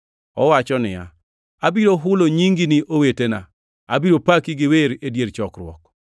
owacho niya, “Abiro hulo nyingi ne owetena; abiro paki gi wer e dier chokruok.” + 2:12 \+xt Zab 22:22\+xt*